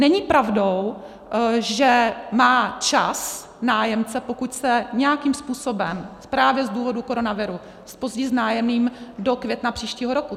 Není pravdou, že má čas nájemce, pokud se nějakým způsobem právě z důvodu koronaviru zpozdí s nájemným, do května příštího roku.